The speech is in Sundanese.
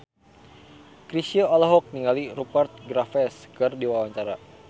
Chrisye olohok ningali Rupert Graves keur diwawancara